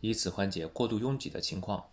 以此缓解过度拥挤的情况